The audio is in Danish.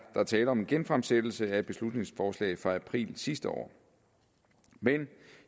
der tale om en genfremsættelse af et beslutningsforslag fra april sidste år men